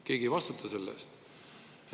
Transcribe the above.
Keegi ei vastuta selle eest!